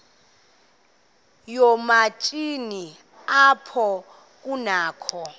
yoomatshini apho kunakho